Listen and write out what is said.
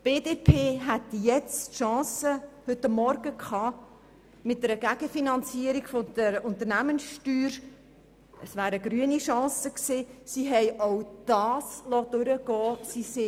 Die BDP hätte heute Morgen die Chance auf eine Gegenfinanzierung der Unternehmenssteuer gehabt, die sogar noch ökologisch gewesen wäre.